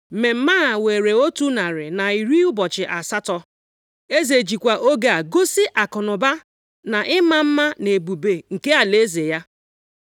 Mmemme a were otu narị na iri ụbọchị asatọ (180). Eze jikwa oge a gosi akụnụba, na ịma mma na ebube nke alaeze ya.